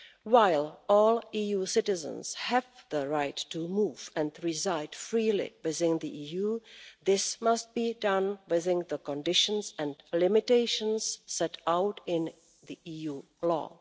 While all EU citizens have the right to move and reside freely within the EU, this must be done within the conditions and limitations set out in EU law.